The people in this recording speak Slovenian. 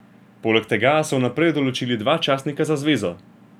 Poleg tega so vnaprej določili dva častnika za zvezo.